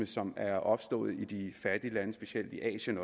som er opstået i de fattige lande specielt i asien